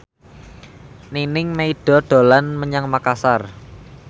Nining Meida dolan menyang Makasar